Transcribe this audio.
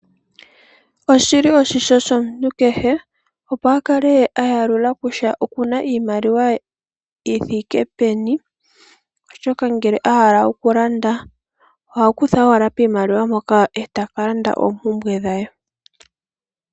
Oshi li oshimpwiyu shomuntu kehe opo a kale a yalula kutya oku na iimaliwa yi thike peni, oshoka ngele a hala okulanda oha kutha owala piimaliw ampoka e ta ka landa oompumbwe dhe.